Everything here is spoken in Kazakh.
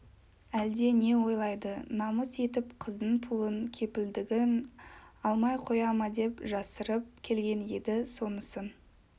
әлде не ойлайды намыс етіп қыздың пұлын кепілдігін алмай қоя ма деп жасырып келген еді сонысын